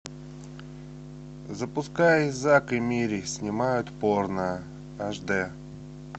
запускай зак и мири снимают порно аш д